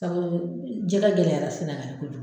Sabu jɛgɛ gɛlɛyara sɛnɛgali kojugu